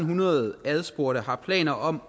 hundrede spurgte har planer om